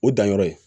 O danyɔrɔ ye